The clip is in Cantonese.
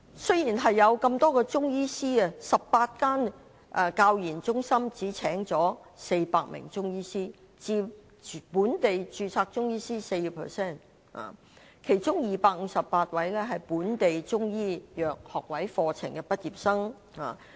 雖然有那麼多中醫師，但18間中醫教研中心只聘請400名中醫師，佔本地註冊中醫師的 4%， 其中258名是本港中醫藥學位課程的畢業生。